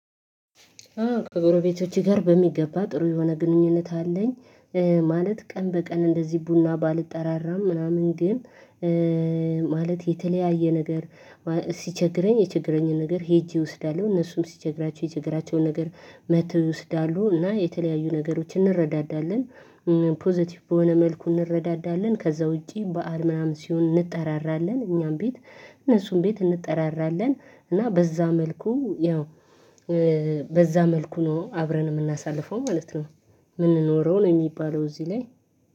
ከጎረቤቶቼ ጋር በሚገባ ጥሩ የሆነ ግንኙነት አለኝ። ማለት ቀን በቀን እንደዚህ ቡና ባልጠራራም ምናምን ግን ማለት የተለያየ ነገር ሲቸግረኝ የችግረኝን ነገር ሄጄ እወስዳለሁ እነሱም ሲቸግራቸው የችግራቸውን ነገር መትው ይወስዳሉ እና የተለያዩ ነገሮችን እንረዳዳለን። ፖዘቲቭ በሆነ መልኩ እንረዳዳለን ከዛ ውጪ በዓል ምናምን ሲሆን እንጠራራለን እኛም ቤት እነሱን ቤት እንጠራራለን። እና በዛ መልኩ ያው በዛ መልኩ ነው አብረን የምናሳልፈው ማለት ነው። የምንኖረው ነው የሚባለው እዚህ ላይ